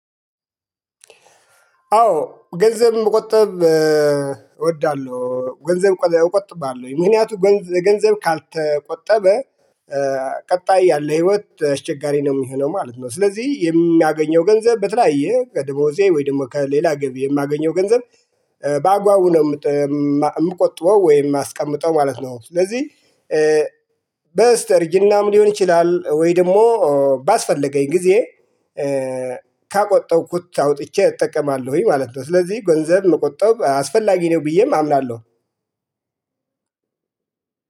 አዎ ገንዘብም መቆጠብ እወዳለሁ ገንዘብ እቆጥባለሁ ምክንያቱ ገንዘብ ካልተቆጠበ ቀጣይ ያለ ህይወት አስቸጋሪ ነው እሚሆነው ማለት ነው። ስለዚህ የሚያገኘው ገንዘብ በተለያየ ደሞዜ ወይ ደግሞ ከሌላ ገቢ የማገኘው ገንዘብ በአግባቡ ነው የምቆጥበው ወይም የማስቀምጠው ማለት ነው። ስለዚህ በስተእርጅናም ሊሆን ይችላል ወይ ደግሞ ባስፈለገኝ ጊዜ ከቆጠብኩት አውጥቼ እጠቀማለሁኝ ማለት ነው። ስለዚህ ገንዘብ መቆጠብ አስፈላጊ ነው ብዬም አምናለሁ።